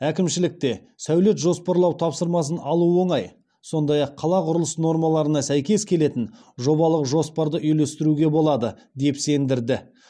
әкімшілікте сәулет жоспарлау тапсырмасын алу оңай сондай ақ қала құрылыс нормаларына сәйкес келетін жобалық жоспарды үйлестіруге болады деп сендірді